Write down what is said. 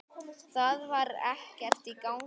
Það var ekkert í gangi.